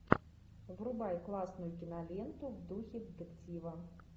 врубай классную киноленту в духе детектива